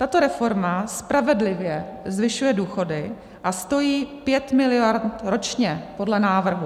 Tato reforma spravedlivě zvyšuje důchody a stojí 5 miliard ročně podle návrhu.